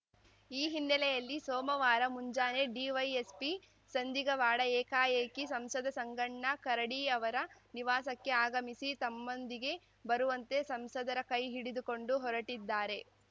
ಈ ಹಿನ್ನೆಲೆಯಲ್ಲಿ ಸೋಮವಾರ ಮುಂಜಾನೆ ಡಿವೈಎಸ್ಪಿ ಸಂದಿಗವಾಡ ಏಕಾಏಕಿ ಸಂಸದ ಸಂಗಣ್ಣ ಕರಡಿ ಅವರ ನಿವಾಸಕ್ಕೆ ಆಗಮಿಸಿ ತಮ್ಮದೊಂದಿಗೆ ಬರುವಂತೆ ಸಂಸದರ ಕೈ ಹಿಡಿದುಕೊಂಡು ಹೊರಟಿದ್ದಾರೆ